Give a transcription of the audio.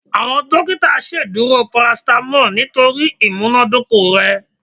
Awọn dokita ṣeduro paracetamol nitori imunadoko rẹ